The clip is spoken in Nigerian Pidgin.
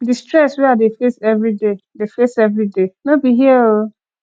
di stress wey i dey face everyday dey face everyday no be hear o